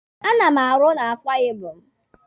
A na m arụ na Akwa Ibom.